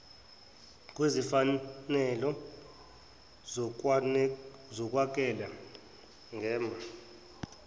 kwezimfanelo zokunakekela ngem